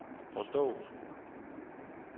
forstået